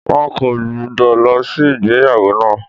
Wọn kò gbúdọ̀ lọ sí ìgbéyàwó náà.